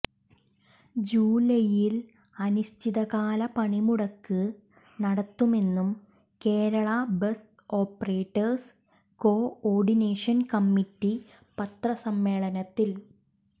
ജൂലൈയിൽ അനിശ്ചിതകാല പണിമുടക്ക് നടത്തുമെന്നും Kerala bus operators coordination committee പത്രസമ്മേളനത്തിൽ